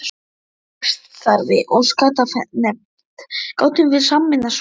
Í félagsstarfi og skattanefnd gátum við sameinað svo margt.